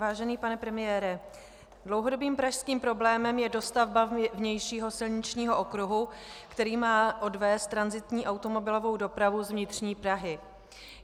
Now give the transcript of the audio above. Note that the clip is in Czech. Vážený pane premiére, dlouhodobým pražským problémem je dostavba vnějšího silničního okruhu, který má odvést tranzitní automobilovou dopravu z vnitřní Prahy.